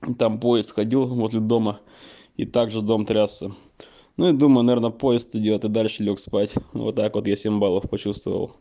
там поезд ходил возле дома и также дом трясся ну и думаю наверно поезд идёт и дальше лёг спать вот так вот я семь баллов почувствовал